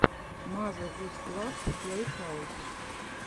мазе гус клаб плейхаус